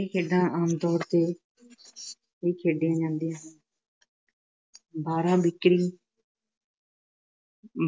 ਇਹ ਖੇਡਾਂ ਆਮਤੌਰ ਤੇ ਹੀ ਖੇਡੀਆਂ ਜਾਂਦੀਆਂ ਬਾਰਾਂ ਬੀਕਰੀ,